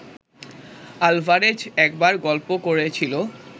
Alvarez একবার গল্প করেছিল